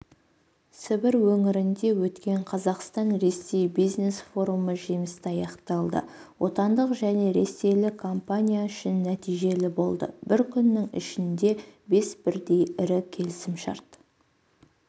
сібір өңірінде өткен қазақстан-ресей бизнес-форумы жемісті аяқталды отандық және ресейлік компания үшін нәтижелі болды бір күннің ішінде бес бірдей ірі келісімшарт